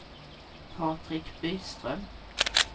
Patrik Byström